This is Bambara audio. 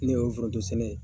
Ne y'o forodon sɛnɛ ye